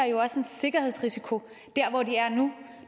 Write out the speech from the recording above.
jo også en sikkerhedsrisiko dér hvor de er nu